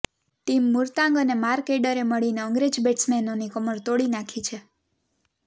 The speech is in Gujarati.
ટીમ મુરતાંગ અને માર્ક એડરે મળીને અંગ્રેજ બેટ્સમેનોની કમર તોડી નાખી છે